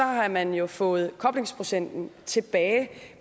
har man jo fået koblingsprocenten tilbage